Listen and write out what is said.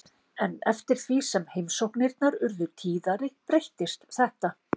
En eftir því sem heimsóknirnar urðu tíðari breyttist þetta.